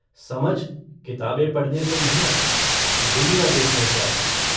समझ किताबें पढ़ने से नहीं आती दुनिया देखने से आती है।